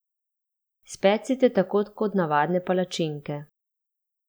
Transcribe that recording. Specite tako kot navadne palačinke.